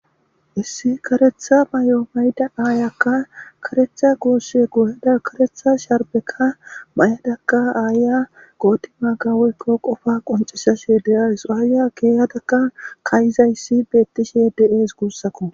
Issi karetha may'o mayda aayakka karetha goosse gooyeda karetha sharbeka may'adakka aaya gootima gawoykko qofa qoncisa she deasuaaya geeyadakka kayizayssi beettishe de'es guussako.